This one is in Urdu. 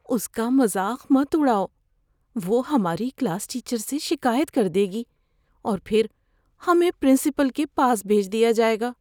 اس کا مذاق مت اڑاؤ۔ وہ ہماری کلاس ٹیچر سے شکایت کر دے گی اور پھر ہمیں پرنسپل کے پاس بھیج دیا جائے گا۔